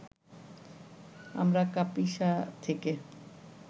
আমরা কাপিসা থেকে